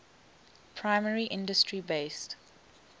primary industry based